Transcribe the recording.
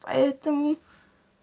поэтому